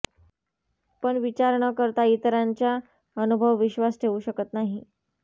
पण विचार न करता इतरांच्या अनुभव विश्वास ठेवू शकत नाही